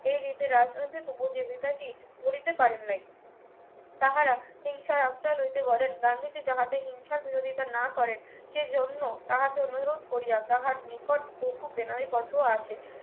এই ঋতের আশ্রয়ে টি গড়িতে পারেন নাই তাহারা হিংসার আশ্রয় লইতে করেন গান্ধীজি যাহাতে হিংসার বিরোধিতা না করেন সেই জন্য তাহাকে অনুরোধ করিয়া তাহার বহু বেনামী পত্র আসে